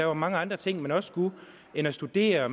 var mange andre ting man skulle end at studere og